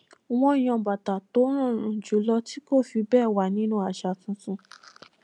wón yan bàtà tó rọrùn jùlọ tí kò fi béè wà nínú àṣà tuntun